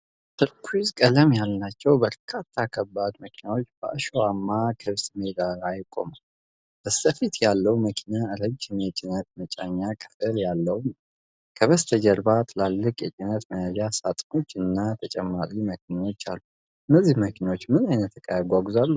ቱርኩይዝ ቀለም ያላቸው በርካታ ከባድ መኪናዎች በአሸዋማ ክፍት ሜዳ ላይ ቆመዋል። በስተፊት ያለው መኪና ረጅም የጭነት መጫኛ ክፍል ያለው ነው፡፡ ከበስተጀርባ ትላልቅ የጭነት መያዣ ሳጥኖች እና ተጨማሪ መኪናዎች አሉ; እነዚህ መኪናዎች ምን አይነት ዕቃ ያጓጉዛሉ?